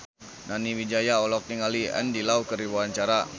Nani Wijaya olohok ningali Andy Lau keur diwawancara